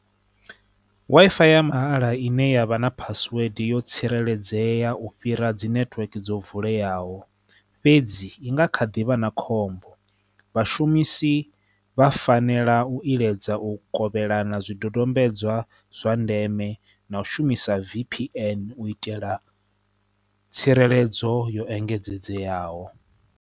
Wi-Fi ya mahala ine ya vha na phasiwede yo tsireledzea u fhira dzi netiweke dzo vuleyaho fhedzi i nga kha ḓi vha na khombo vhashumisi vha fanela u iledza u kovhelana zwidodombedzwa zwa ndeme na u shumisa V_P_N u itela tsireledzo yo engedzedzeaho.